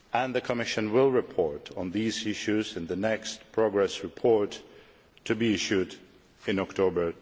The Commission will report on these issues in the next progress report, to be issued in October